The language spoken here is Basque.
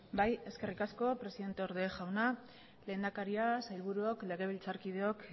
bai eskerrik asko presidente orde jauna lehendakaria sailburuok legebiltzar kideok